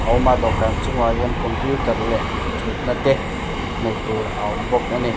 a awm a dawhkan chung ah hian computer leh thut na te hmuh tur a awm bawk a ni.